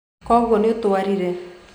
Koguo nĩũtwarire.